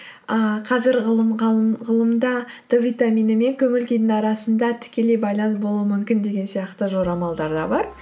ыыы қазір ғылымда д витамині мен көңіл күйдің арасында тікелей байланыс болуы мүмкін деген сияқты жорамалдар да бар